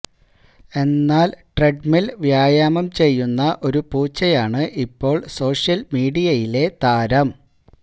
എന്നാല് ട്രെഡ്മില് വ്യായാമം ചെയ്യുന്ന ഒരു പൂച്ചയാണ് ഇപ്പോള് സോഷ്യല് മീഡിയയിലെ താരം